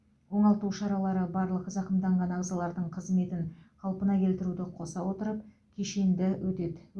оңалту шаралары барлық зақымданған ағзалардың қызметін қалпына келтіруді қоса отырып кешенді өтеді